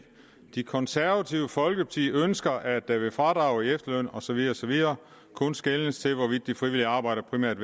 det konservative folkeparti ønsker at der ved fradrag i efterløn og så videre og så videre kun skeles til hvorvidt det frivillige arbejde primært